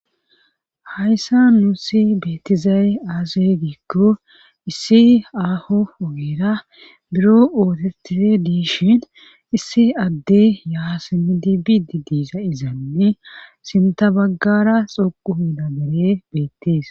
Hayssa nuusi beettizaye aaze giikko issi aaho ogeera biro ootitire dishin issi adde yaa simidi biidi diiza izanne sinta baggara xoquhina bere beettees